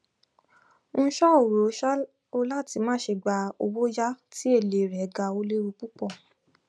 n um ò rọ um ọ láti má ṣe gba owóyàá tí èlé rẹ ga ó léwu púpọ